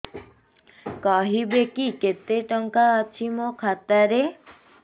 କହିବେକି କେତେ ଟଙ୍କା ଅଛି ମୋ ଖାତା ରେ